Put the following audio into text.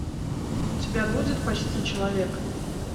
у тебя будет почти человек